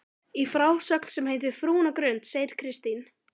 Í frásögn sem heitir Frúin á Grund segir Kristín